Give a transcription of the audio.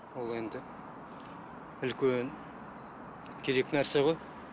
ол енді үлкен керек нәрсе ғой